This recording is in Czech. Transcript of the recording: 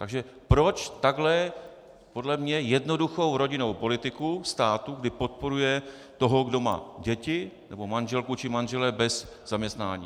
Takže proč takhle podle mě jednoduchou rodinnou politiku státu, kdy podporuje toho, kdo má děti nebo manželku či manžela bez zaměstnání.